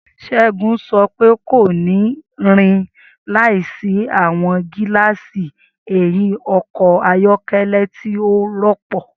Segun sọ pe, ko ni rin laisi awọn gilaasi ẹhin ọkọ ayọkẹlẹ ti o rọpo.